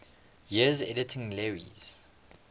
years editing lewes's